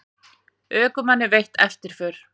Ökumanni veitt eftirför